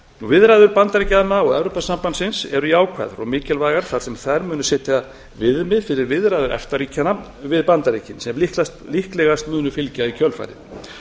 viðræður bandaríkjanna og evrópusambandsins eru jákvæðar og mikilvægar þar sem þær munu setja viðmið fyrir viðræður efta ríkjanna við bandaríkin sem líklegast munu fylgja í kjölfarið